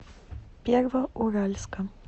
первоуральска